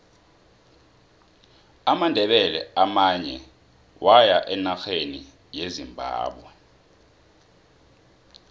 amandebele amanye waya enarheni yezimbabwe